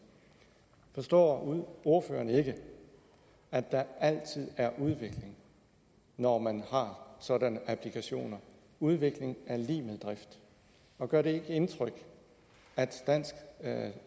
forstår ordføreren ikke at der altid er udvikling når man har sådanne applikationer udvikling er lig med drift og gør det ikke indtryk at det danske